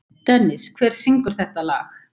Dennis, hver syngur þetta lag?